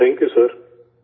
thank you sir